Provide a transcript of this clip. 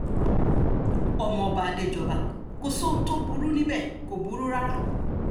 ọmọọba adéjọba kò sóhun tó burú níbẹ̀ kò burú rárá